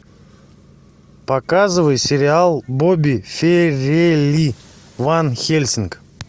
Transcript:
показывай сериал бобби фарелли ван хельсинг